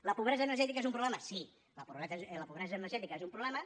la pobresa energètica és un problema sí la pobresa energètica és un problema